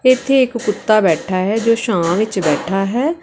ਇਥੇ ਇੱਕ ਕੁੱਤਾ ਬੈਠਾ ਹੈ ਜੋ ਛਾਂ ਵਿੱਚ ਬੈਠਾ ਹੈ।